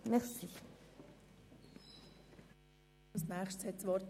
Nun hat der Kommissionspräsident das Wort.